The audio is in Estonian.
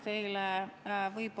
Aitäh!